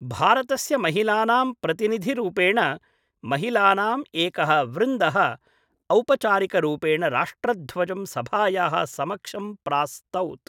भारतस्य महिलानां प्रतिनिधि रूपेण महिलानाम् एकः वृन्दः औपचारिकरूपेण राष्ट्रध्वजं सभायाः समक्षं प्रास्तौत्।